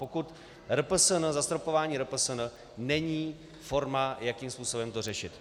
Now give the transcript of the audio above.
Pokud RPSN, zastropování RPSN není forma, jakým způsobem to řešit.